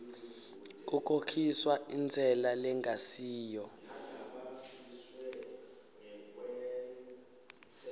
kukhokhiswa intsela lengasiyo